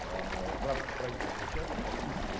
в рамках правительственного часа заслушивать